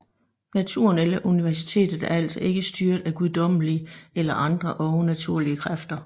Naturen eller universet er altså ikke styret af guddommelige eller andre overnaturlige kræfter